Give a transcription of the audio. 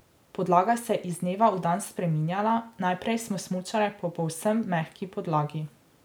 Podlaga se je iz dneva v dan spreminjala, najprej smo smučale po povsem mehki podlagi.